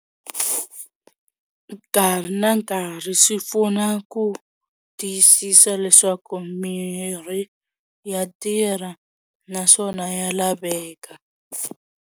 Nkarhi na nkarhi swi pfuna ku tiyisisa leswaku mirhi ya tirha naswona ya laveka.